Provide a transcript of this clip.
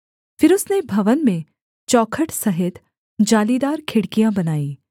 फिर उसने भवन में चौखट सहित जालीदार खिड़कियाँ बनाईं